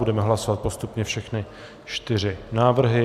Budeme hlasovat postupně všechny čtyři návrhy.